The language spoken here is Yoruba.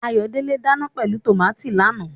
Ayodele ń dana pẹ̀lú tòmátì lánàá.